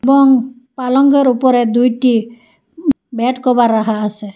বং পালঙ্গের উপরে দুইটি উম বেডকভার রাখা আসে।